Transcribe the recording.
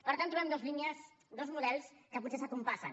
per tant trobem dues línies dos models que potser es compassen